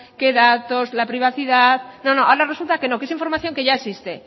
qué datos la privacidad no ahora resulta que no que esa información que ya existe